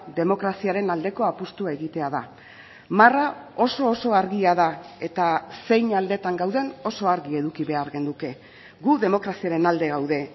demokraziaren aldeko apustua egitea da marra oso oso argia da eta zein aldetan gauden oso argi eduki behar genuke gu demokraziaren alde gaude